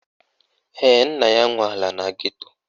Ee, nna ya nwe ala na geto